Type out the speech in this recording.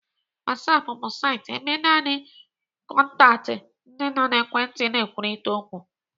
Whatsapp bu saịtị ebe naanị kọntaktị ndị nọ n'ekwentị na-ekwurịta okwu.